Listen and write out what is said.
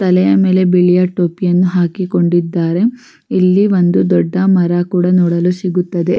ತಲೆಯ ಮೇಲೆ ಬಿಳಿಯ ಟೋಪಿಯನ್ನು ಹಾಕಿಕೊಂಡಿದ್ದಾರೆ ಇಲ್ಲಿ ಒಂದು ದೊಡ್ಡ ಮರ ಕೂಡ ನೋಡಲು ಸಿಗುತ್ತದೆ .